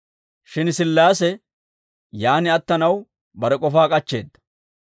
Shin Sillaase yaan attanaw bare k'ofaa k'achcheedda.